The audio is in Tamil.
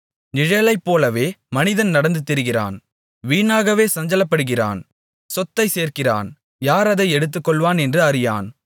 நிழலைப்போலவே மனிதன் நடந்து திரிகிறான் வீணாகவே சஞ்சலப்படுகிறான் சொத்தைச் சேர்க்கிறான் யார் அதை எடுத்துக்கொள்ளுவான் என்று அறியான்